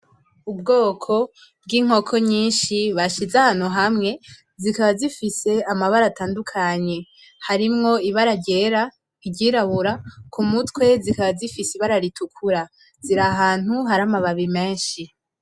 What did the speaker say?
Ubwoko bw'inkoko nyinshi bashize ahantu hamwe, zikaba zifise amabara atandukanye harimwo ibara ryera, iryirabura, kumutwe zikaba zifise ibara ritukura ziri ahantu hari amababi menshi.